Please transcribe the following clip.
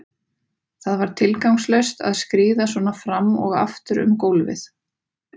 Það var tilgangslaust að skríða svona fram og aftur um gólfið.